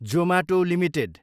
Zomato Ltd